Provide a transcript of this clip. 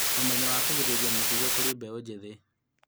ũmenyo wa kũgirĩrĩria mũkingo kũr ĩ mbeũ njĩthĩ